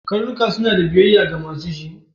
Karnuka su a da biyayya ga ma su shi.